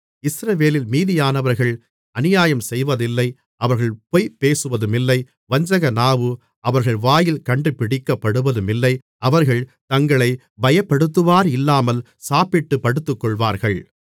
இஸ்ரவேலில் மீதியானவர்கள் அநியாயம்செய்வதில்லை அவர்கள் பொய் பேசுவதுமில்லை வஞ்சகநாவு அவர்கள் வாயில் கண்டுபிடிக்கப்படுவதுமில்லை அவர்கள் தங்களைப் பயப்படுத்துவாரில்லாமல் சாப்பிட்டுப் படுத்துக்கொள்வார்கள்